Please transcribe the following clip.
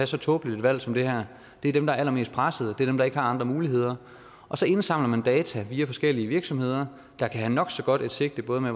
så tåbeligt et valg som det her det er dem der er allermest pressede det er dem der ikke har andre muligheder og så indsamler man data via forskellige virksomheder der kan have nok så godt et sigte både med